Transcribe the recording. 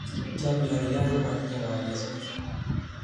Chomyo ni nyon ko matinye kagesunet.